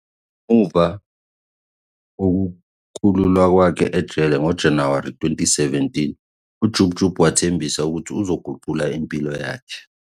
Ngemuva kokukhululwa kwakhe ejele ngoJanuwari 2017, uJub Jub wathembisa ukuthi uzoguqula impilo yakhe.